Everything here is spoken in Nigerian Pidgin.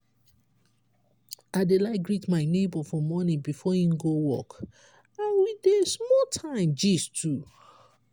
i dey like greet my nebo for morning before im go work and we dey small time gist too.